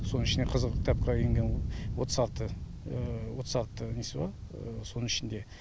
соның ішінде қызыл кітапқа енген отыз алты отыз алты несі бар соның ішінде